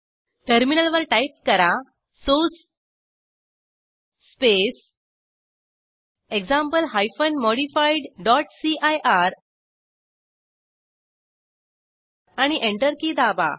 टर्मिनलवर टाईप करा source space example hyphen modified dot CIR आणि एंटर की दाबा